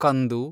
ಕಂದು